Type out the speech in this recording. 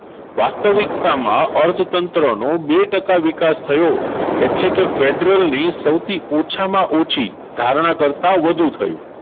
વાસ્તવિકતામાં અર્થતંત્રનો બે ટકા વિકાસ થયો એટલે કે federal ની સૌથી ઓછામાં ઓછી ધારણા કરતા વધુ થયું.